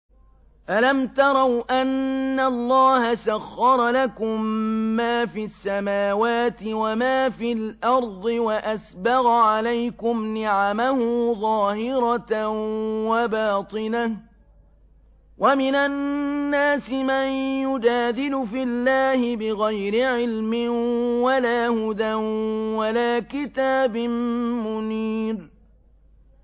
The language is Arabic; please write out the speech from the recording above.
أَلَمْ تَرَوْا أَنَّ اللَّهَ سَخَّرَ لَكُم مَّا فِي السَّمَاوَاتِ وَمَا فِي الْأَرْضِ وَأَسْبَغَ عَلَيْكُمْ نِعَمَهُ ظَاهِرَةً وَبَاطِنَةً ۗ وَمِنَ النَّاسِ مَن يُجَادِلُ فِي اللَّهِ بِغَيْرِ عِلْمٍ وَلَا هُدًى وَلَا كِتَابٍ مُّنِيرٍ